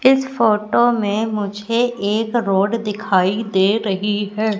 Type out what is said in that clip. इस फोटो में मुझे एक रोड दिखाई दे रही है।